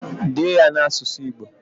Dee ya n'asụsụ Igbo!